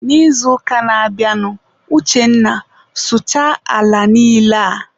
N'izuụka na-abịanụ, Uchenna sụchaa ala niile a!.